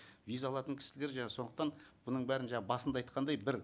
виза алатын кісілер сондықтан бұның бәрін басында айтқандай бір